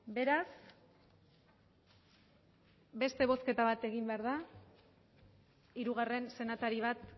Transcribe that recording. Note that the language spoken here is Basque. beraz beste bozketa bat egin behar da hirugarren senatari bat